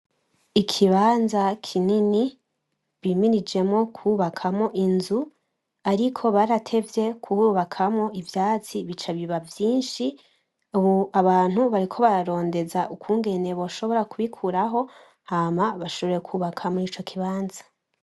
Ikibanza kinini bimirijemwo kubakamwo inzu ariko baratevye kuhubakamwo ivyatsi bica biba vyinshi ubu abantu bariko bararondeza ukungene bashobora kubikuraho hama bashobore kubakamwo muri ico kibanza.